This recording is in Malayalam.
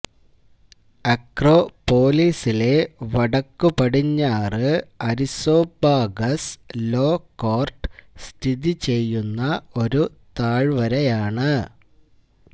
അക്രോപൊലിസിലെ വടക്കുപടിഞ്ഞാറ് അരിസോപ്പാഗസ് ലോ കോർട്ട് സ്ഥിതി ചെയ്യുന്ന ഒരു താഴ്വരയാണ്